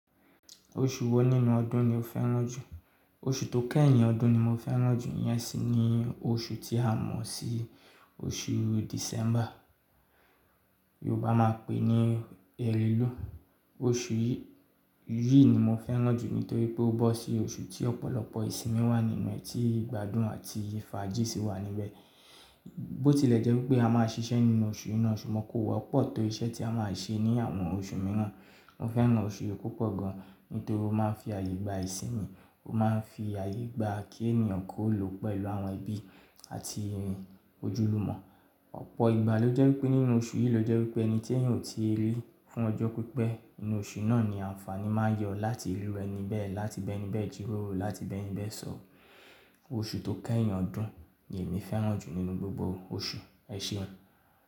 Oṣù wo nínú ọdún ni o fẹ́ràn jù? Oṣù tó kẹ́yìn ọdún ni mo fẹ́ràn jù, iyẹn sì ní oṣù tí a mọ̀ sí oṣù Disẹ́ḿbà, Yorùbá máa pè ní Ẹrẹ́lú. Oṣù yìí ni mo fẹ́ràn jù nítorí pé ó bọ́ sí oṣù tí ọ̀pọ̀lọpọ̀ ìsìnmi wà nínú rẹ̀, tí ìgbádùn àti faajì ṣí wà níbẹ̀. Bótilẹ̀ jẹ́ wípé a máa ṣiṣẹ́ nínú oṣù yi náa, ṣùgbọ́n kò wọ́pọ̀ tó iṣẹ́ tí a máa ṣe ní àwọn oṣù mìíràn. Mo fẹ́ràn oṣù yìí púpọ̀ gan nítorí ó máa ń fi àye gbà ìsìnmi, ó máa ń fi àye gbà kí ènìyàn kó lò pẹ̀lú àwọn ẹbí àti òjúlùmò. Ọ̀pọ̀ ìgbà ló jẹ́ pé nínú oṣù yìí ló jẹ́ wipé ẹni tí èyàn ò ti i rí fún ọjọ́ pípẹ̀, inú oṣù yìí náà ni àǹfàní máa yọ láti rí irú ení bẹ̀, láti bẹ́ ení bẹ̀ jíròrò, láti bẹ́níbẹ̀ sọ̀. Oṣù tó kẹ́yìn ọdún ni èmi fẹ́ràn jù nínú gbogbo oṣù, ẹ ṣèun.